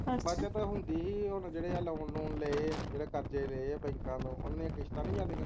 ਬੱਚਤ ਹੁੰਦੀ ਹੀ ਹੈ ਹੁਣ ਜਿਹੜੇ ਆ ਲੋਨ ਲੂਣ ਲਏ ਹੈ ਜਿਹੜੇ ਕਰਜ਼ੇ ਲਏ ਹੈਂ ਬੈਂਕਾਂ ਤੋਂ ਓਹਨਾ ਦੀ ਕਿਸ਼ਤਾਂ ਨੀ ਜਾਂਦੀਆਂ